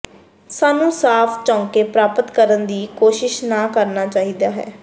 ਸਾਨੂੰ ਸਾਫ ਚੌਕੇ ਪ੍ਰਾਪਤ ਕਰਨ ਦੀ ਕੋਸ਼ਿਸ਼ ਨਾ ਕਰਨਾ ਚਾਹੀਦਾ ਹੈ